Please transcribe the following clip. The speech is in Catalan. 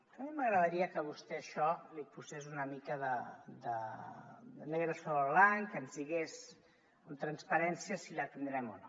a mi m’agradaria que vostè a això hi posés una mica de negre sobre blanc que ens digués amb transparència si la tindrem o no